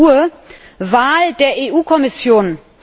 12.00 Uhr, Wahl der EU Kommission.